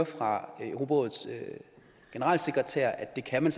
fra europarådets generalsekretær at det kan man